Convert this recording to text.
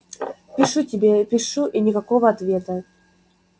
пишу тебе пишу и никакого ответа